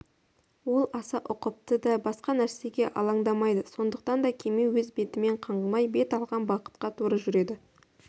ол аса ұқыпты да басқа нәрсеге алаңдамайды сондықтан да кеме өз бетімен қаңғымай бет алған бағытқа тура жүреді